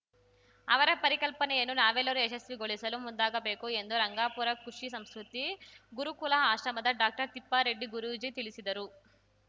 ಅವರ ಪರಿಕಲ್ಪನೆಯನ್ನು ನಾವೆಲ್ಲರೂ ಯಶಸ್ವಿಗೊಳಿಸಲು ಮುಂದಾಗಬೇಕು ಎಂದು ರಂಗಾಪುರ ಕುಷಿ ಸಂಸ್ಕೃತಿ ಗುರುಕುಲ ಆಶ್ರಮದ ಡಾಕ್ಟರ್ ತಿಪ್ಪಾರೆಡ್ಡಿ ಗುರೂಜಿ ತಿಳಿಸಿದರು